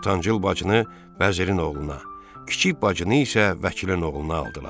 Ortancıl bacını vəzirin oğluna, kiçik bacını isə vəkilin oğluna aldılar.